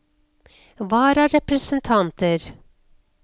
vararepresentanter